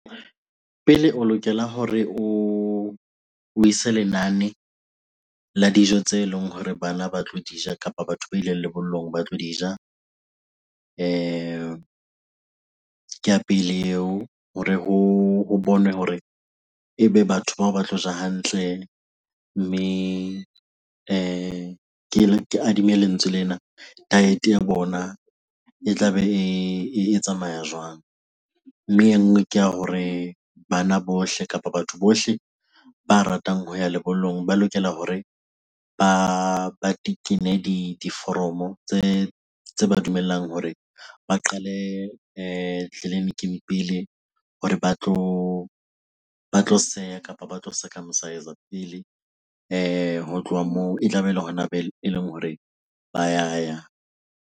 Pele o lokela hore o ise lenane la dijo tse leng hore bana ba tlo di ja kapa batho ba ileng lebollong ba tlo di ja. Ke ya pele eo hore ho bonwe hore ebe batho bao ba tlo ja hantle mme ke ke adimme lentswe lena, diet-e ya bona e tla be e tsamaya jwang? Mme e nngwe ke ya hore bana bohle kapa batho bohle ba ratang ho ya lebollong ba lokela hore ba tekene diforomo tse ba dumellang hore ba qale tleliniking pele hore ba tlo seha kapa ba tlo circumcise-er pele. Ho tloha moo e tlabe ele hona eleng hore ba ya ya.